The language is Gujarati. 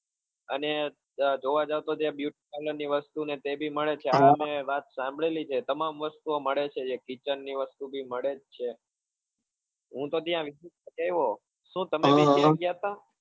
અને જોવા જાવ તો ત્યાં beauty parlor ની વસ્તુ અને એ બી મળે છે હા મેં વાત સાંભળે લી છે તમામ વસ્તુઓં મળે છે kitchen ની વસ્તુ બી મળે જ છે હું તો ત્યાં visit કરી આવ્યો શું તમે બી ગયા હતા?